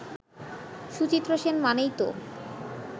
সুচিত্রা সেন মানেই তো